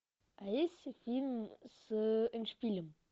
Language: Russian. а есть фильм с эндшпилем